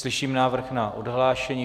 Slyším návrh na odhlášení.